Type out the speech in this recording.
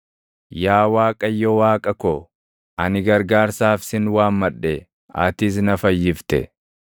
Yaa Waaqayyo Waaqa ko, ani gargaarsaaf sin waammadhe; atis na fayyifte.